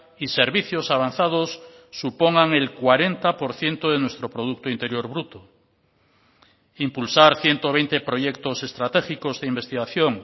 y servicios avanzados supongan el cuarenta por ciento de nuestro producto interior bruto impulsar ciento veinte proyectos estratégicos de investigación